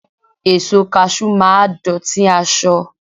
Èso Kaṣú máa dọ̀tí aṣọ..